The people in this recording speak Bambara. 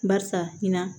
Barisa in na